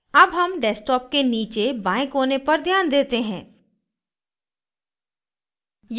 अब हम desktop के नीचे बाएं कोने पर ध्यान देते हैं